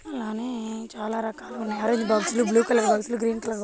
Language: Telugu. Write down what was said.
అలానే చాలా రకాల మ్యారేజ్ బాక్సు లు బ్లూ కలర్ బాక్సు లు గ్రీన్ కలర్ బాక్సు లు--